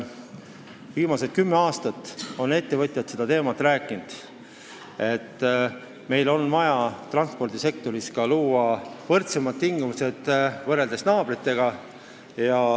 Viimased kümme aastat on ettevõtjad rääkinud sellest, et meil on vaja luua transpordisektoris võrdsemad tingimused võrreldes naabritega.